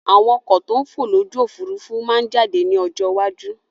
Àwọn ọkọ̀ to ń fò lójú Òfurufú máa jáde ní ọjọ́ iwájú